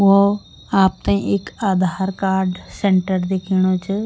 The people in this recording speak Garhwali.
वो आपते एक आधार कार्ड सेण्टर दिखेणु च।